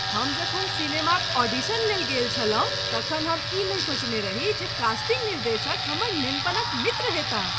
हम जखन सिनेमाक ऑडिशन लेल गेल छलहुँ तखन हम ई नहि सोचने रही जे कास्टिंग निर्देशक हमर नेनपनक मित्र होयताह।